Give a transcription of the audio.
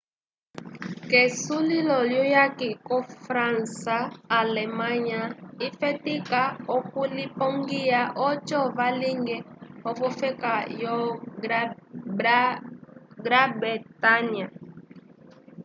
k'esulilo lyuyaki ko-fransa alemanya lyafetika okulipongiya oco vañgĩle v'ofeka yo brã-bretanya